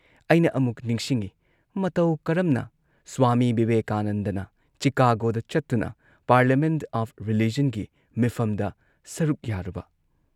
ꯑꯩꯅ ꯑꯃꯨꯛ ꯅꯤꯡꯁꯤꯡꯏ ꯃꯇꯧ ꯀꯔꯝꯅ ꯁ꯭ꯋꯥꯃꯤ ꯕꯤꯕꯦꯀꯥꯅꯟꯗꯅ ꯆꯤꯀꯥꯒꯣꯗ ꯆꯠꯇꯨꯅ, ꯄꯥꯔꯂꯤꯌꯥꯃꯦꯟꯠ ꯑꯣꯐ ꯔꯤꯂꯤꯖꯟꯒꯤ ꯃꯤꯐꯝꯗ ꯁꯔꯨꯛ ꯌꯥꯔꯨꯕ ꯫